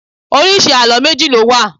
Oríṣi àlọ́ méjì ló wà